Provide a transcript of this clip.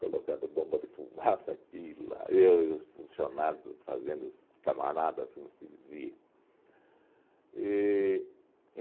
colocando bomba de fumaça aqui e lá, eu e os funcionários das fazendas camaradas, como se dizia. E